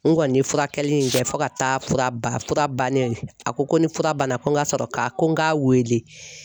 N kɔni ye furakɛli in kɛ fo ka taa fura ban, fura banen ye a ko ko ni fura banna ko n ka sɔrɔ ka ko n k'a wele.